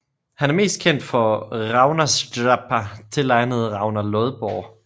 Han er mest kendt for Ragnarsdrápa tilegnet Ragnar Lodbrog